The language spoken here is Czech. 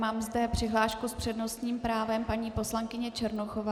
Mám zde přihlášku s přednostním právem paní poslankyně Černochová.